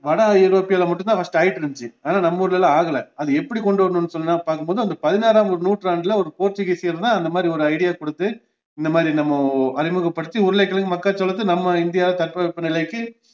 வட ஐரோப்பியால மட்டும் தான் first ஆயிட்டுருந்துச்சு ஆனா நம்ம ஊர்ல எல்லாம் ஆகல அது எப்படி கொண்டுவரணுன்னு சொன்னா பாக்கும்போது அந்த பதினாறாவது நூற்றாண்டுல ஒரு போர்த்துகீசியர் தான் இந்தமாதிரி ஒரு idea கொடுத்து இந்தமாதிரி நம்ம அறிமுகப்படுத்தி உருளைக்கிழங்கு, மக்காச்சோளத்த நம்ம இந்தியாவுல தட்பவெப்பநிலைக்கு